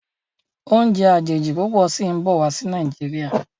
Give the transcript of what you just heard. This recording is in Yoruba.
Oúnjẹ àjèjì púpọ sìn bó wá sí Nàìjíríà.